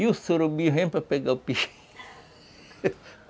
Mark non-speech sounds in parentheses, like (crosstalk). E o surubim vem para pegar o. (unintelligible) (laughs)